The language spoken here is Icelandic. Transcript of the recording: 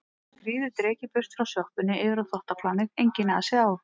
Svo skríður drekinn burt frá sjoppunni yfir á þvottaplanið, enginn asi á